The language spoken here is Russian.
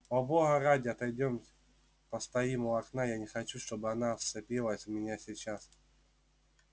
о бога ради отойдёмте постоим у окна я не хочу чтобы она вцепилась в меня сейчас